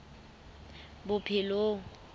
bophelong